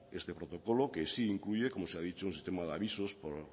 este protocolo que sí incluye como se ha dicho un sistema de avisos por